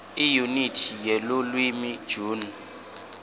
iyunithi yelulwimi june